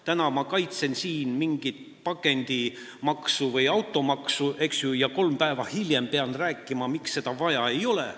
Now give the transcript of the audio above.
Täna ma kaitsen siin mingit pakendimaksu või automaksu, eks ju, ja kolm päeva hiljem pean rääkima, miks seda vaja ei ole.